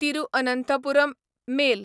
Thiruvananthapuram mail